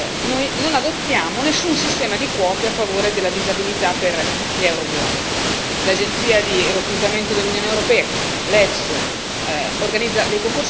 Contrariamente alla maggior parte degli Stati dell'Unione europea, noi non adottiamo nessun sistema di quote a favore della disabilità per gli euroburocrati.